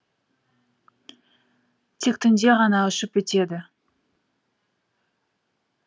тек түнде ғана ұшып өтеді